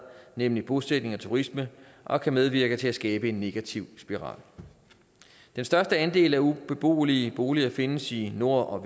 nemlig bosætning og turisme og kan medvirke til at skabe en negativ spiral den største andel af ubeboelige boliger findes i nord og